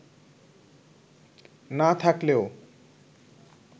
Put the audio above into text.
না থাকলেও